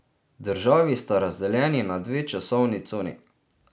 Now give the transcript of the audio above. Državi sta razdeljeni na dve časovni coni.